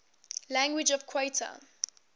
languages of qatar